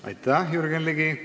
Aitäh, Jürgen Ligi!